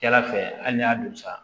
Cɛla fɛ hali n'i y'a don sa